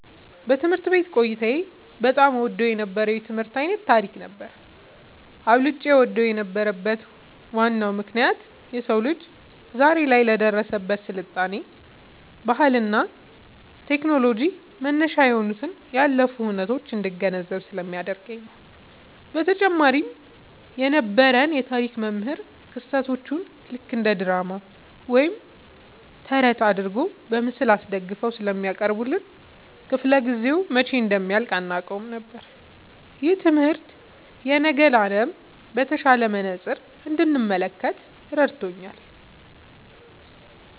ትምህርት ቤት ቆይታዬ በጣም እወደው የነበረው የትምህርት ዓይነት ታሪክ ነበር። አብልጬ እወደው የነበረበት ዋናው ምክንያት የሰው ልጅ ዛሬ ላይ ለደረሰበት ስልጣኔ፣ ባህልና ቴክኖሎጂ መነሻ የሆኑትን ያለፉ ሁነቶች እንድገነዘብ ስለሚያደርገኝ ነው። በተጨማሪም የነበረን የታሪክ መምህር ክስተቶቹን ልክ እንደ ድራማ ወይም ተረት አድርገው በምስል አስደግፈው ስለሚያቀርቡልን፣ ክፍለ-ጊዜው መቼ እንደሚያልቅ አናውቅም ነበር። ይህ ትምህርት የነገን ዓለም በተሻለ መነጽር እንድመለከት ረድቶኛል።"